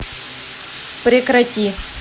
прекрати